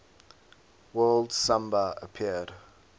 word samba appeared